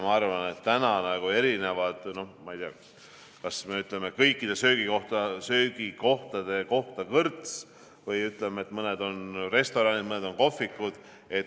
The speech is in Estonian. Ma arvan, et need on nagu erinevad, kas me ütleme kõikide söögikohtade kohta kõrts või ütleme, et mõned on restoranid, mõned on kohvikud.